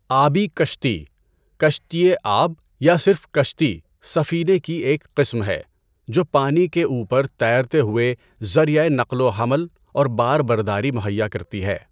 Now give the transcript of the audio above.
آبی کشتی، کشتیِ آب یا صرف کشتی سفینے کی ایک قسم ہے جو پانی کے اُوپر تیرتے ہوئے ذریعۂ نقل و حمل اور بار برداری مہیّا کرتی ہے۔